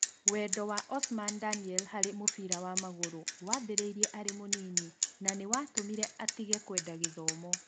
Wendo wa Osman Daniel harĩ mũbira wa magũrũ wambĩrĩirie arĩ mũnini na nĩ watũmire atĩge kũenda gĩthomo.